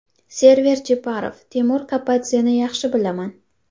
Server Jeparov: Timur Kapadzeni yaxshi bilaman.